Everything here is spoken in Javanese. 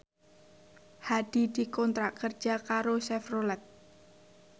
Hadi dikontrak kerja karo Chevrolet